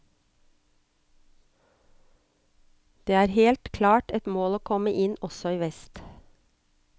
Det er helt klart et mål å komme inn også i vest.